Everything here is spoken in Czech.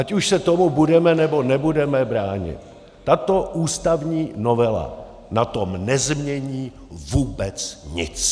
Ať už se tomu budeme, nebo nebudeme bránit, tato ústavní novela na tom nezmění vůbec nic.